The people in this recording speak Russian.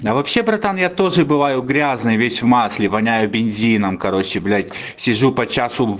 да вообще братан я тоже бываю грязный весь в масле воняю бензином короче блять сижу по часу